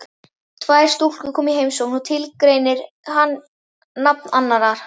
Tvær stúlkur koma í heimsókn og tilgreinir hann nafn annarrar.